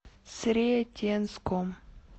сретенском